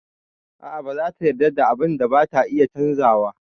A'a ba zata yarda da abun da bata iya canzawa.